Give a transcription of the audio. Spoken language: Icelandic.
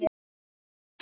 Verður góð saga.